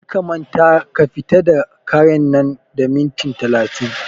Kar ka manta ka fita da karen nan da minti talatin!